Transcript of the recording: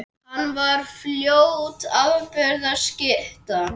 Hann varð fljótt afburða skytta.